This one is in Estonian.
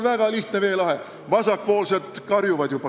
Vasakpoolsed juba karjuvad.